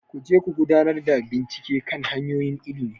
Ku je ku gudanar da bincike kan hanyoyin ilimi,